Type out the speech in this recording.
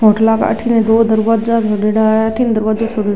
होटला अठीने दो दरवाज्जा बनेड़ा है अठीने दरवज्जा छोडेडा।